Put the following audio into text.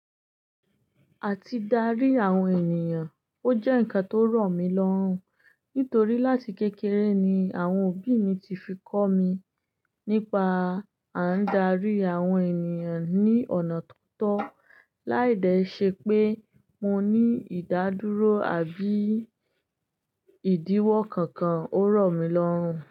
Àti dárí àwọn ènìyàn, ó jẹ́ ǹkan tó rọ̀ mí lọ́rùn. Nítorí láti kékeré ni àwọn òbí mi ti fi kọ́ mi nípa à ń dárí àwọn ènìyàn ní ọ̀nà tó tọ́. Láì dẹ ṣe pé mo ní ìdádúró àbí ìdíwọ́ kankan, ó rọ̀ mí lọ́rùn.